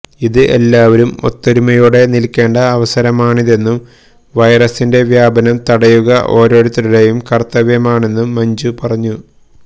ഇത് എല്ലാവരും ഒത്തൊരുമയോടെ നിൽക്കേണ്ട അവസരമാണിതെന്നും വെെറസിന്റെ വ്യാപനം തടയുക ഓരോരുത്തരുടേയും കർത്തവ്യവുമാണ് എന്നും മഞ്ജു പറഞ്ഞു